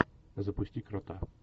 запусти крота